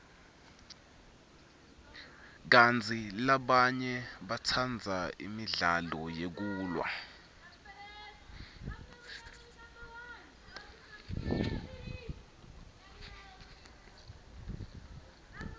kantsi labanye batsandza imidlalo yekulwa